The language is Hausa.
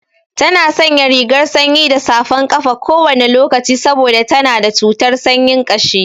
Tana sanya rigar sanyi da safan ƙafa kowane lokaci saboda tana da cutar sanyin ƙashi.